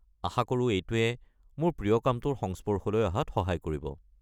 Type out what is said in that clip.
আশা কৰো এইটোৱে মোৰ প্ৰিয় কামটোৰ সংস্পৰ্শলৈ অহাত সহায় কৰিব।